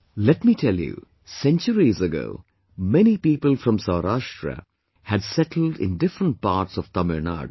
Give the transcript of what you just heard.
Let me tell you, centuries ago many people from Saurashtra had settled in different parts of Tamil Nadu